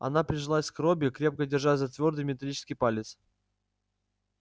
она прижалась к робби крепко держась за твёрдый металлический палец